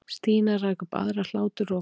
Stína rak upp aðra hláturroku.